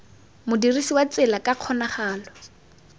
modirisi wa tsela ka kgonagalo